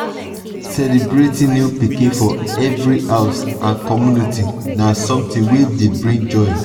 celebrating new pikin for every house and community na something wey dey bring joy